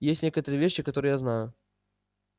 есть некоторые вещи которые я знаю